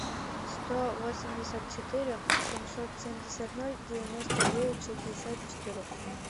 сто восемьдесят четыре семьсот семьдесят ноль девяносто девять шестьдесят четыре